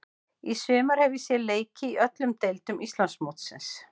Í sumar hef ég séð leiki í öllum deildum Íslandsmótsins.